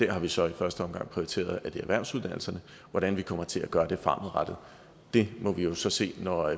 har vi så i første omgang prioriteret erhvervsuddannelserne hvordan vi kommer til at gøre det må vi jo så se når